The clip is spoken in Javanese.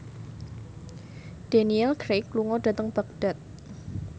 Daniel Craig lunga dhateng Baghdad